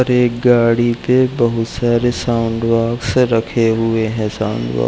और एक गाड़ी पे बहोत सारे साउंड बॉक्स रखे हुए हैं साउंड बॉक्स --